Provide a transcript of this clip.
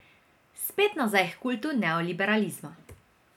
Spet nazaj h kultu neoliberalizma.